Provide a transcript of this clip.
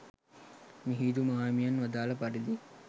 මිහිඳු මාහිමියන් වදාළ පරිදි